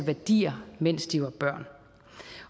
værdier mens de var børn